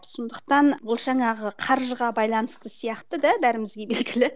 сондықтан ол жаңағы қаржыға байланысты сияқты да бәрімізге белгілі